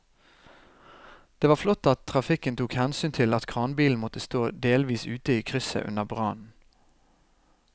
Det var flott at trafikken tok hensyn til at kranbilen måtte stå delvis ute i krysset under brannen.